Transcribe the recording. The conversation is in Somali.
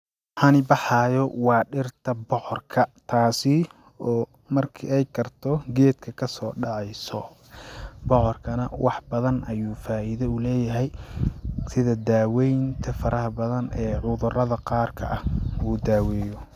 waxan baxaayo waa dhirta bocorka taasi oo marki ay karto geedka kasoo dheceyso bocorka nah wax badan ayuu faida u leyahy sida daweeynta faraha badan ee cudurada qaarka ah uu daaweeyo